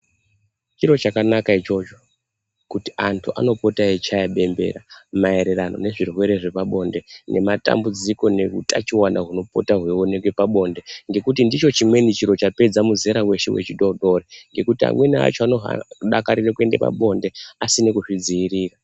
Chiro chakanaka ichocho kuti antu anopota eichaya bembera maererano nezvirwere zvepanonde nematambudziko nehutachiwana hunopota hweionekwa pabonde. Ngekuti ndicho chimweni chiro chapedza muzera weshe we chidodori. Ngekuti amweni acho anodakarira kuenda pabonde asina kuzvidziirira.